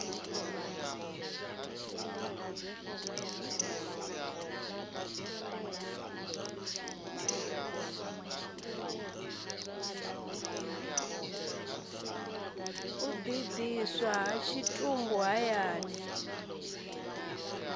u ḓidiswa ha tshitumbu hayani